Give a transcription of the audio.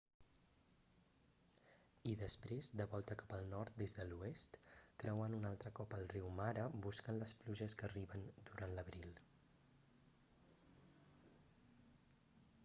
i després de volta cap al nord des de l'oest creuant un altre cop el riu mara buscant les pluges que arriben durant l'abril